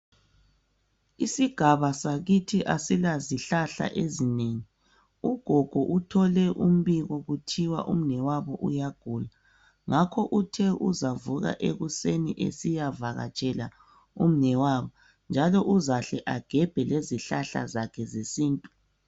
isigaba sakithi asilazihlahla ezinengi ugogo uthole umpiko kuthiwa umnewabo uyagula ngakho uthe uzavuka ekuseni esiyavakatshela umnewabo njalo uzahle agebhe lezihlahlazakhe zesintu